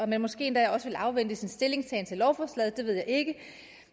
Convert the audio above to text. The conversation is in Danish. man måske endda også ville afvente sin stillingtagen til lovforslaget ved jeg ikke